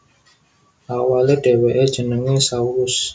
Awalé dhèwèké jenengé Saulus